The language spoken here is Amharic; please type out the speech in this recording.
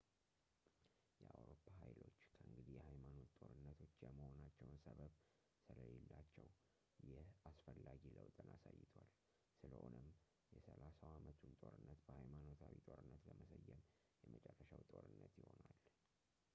የአውሮፓ ኃይሎች ከእንግዲህ የሃይማኖት ጦርነቶች የመሆናቸው ሰበብ ስለሌላቸው ይህ አስፈላጊ ለውጥን አሳይቷል ስለሆነም የሰላሳው ዓመቱን ጦርነት በሃይማኖታዊ ጦርነት ለመሰየም የመጨረሻው ጦርነት ይሆናል